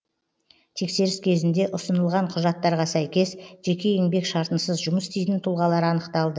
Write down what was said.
тексеріс кезінде ұсынылған құжаттарға сәйкес жеке еңбек шартынсыз жұмыс істейтін тұлғалар анықталды